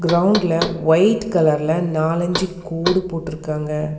க்ரவுண்டுல white கலர்ல நாலஞ்சு கோடு போட்ருக்காங்க.